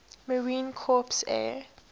marine corps air